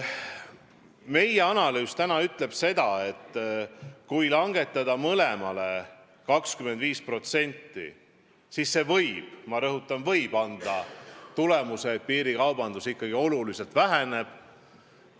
Meie analüüs ütleb seda, et kui langetada mõlemaid 25%, siis see võib – ma rõhutan: võib – anda tulemuse, et piirikaubandus ikkagi oluliselt väheneb.